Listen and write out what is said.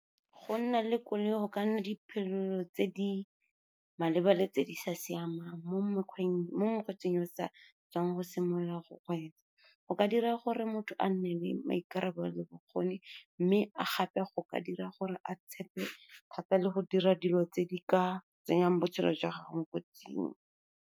Go nna le koloi go ka nna tse di maleba le tse di sa siamang, mo mokgweetsing o sa tswang go simolola go kgweetsa, go ka dira gore motho a nne le maikarabelo le bokgoni. Mme gape go ka dira gore a tshepe thata le go dira dilo tse di ka tsenyang botshelo jwa gago mo kotsing.